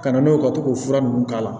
Ka na n'o ye ka to k'o fura ninnu k'a la